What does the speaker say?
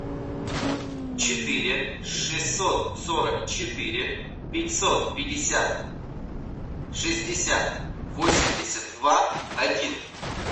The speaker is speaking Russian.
четыре шестьсот сорок четыре пятьсот пятьдесят шестьдесят восемьдесят два один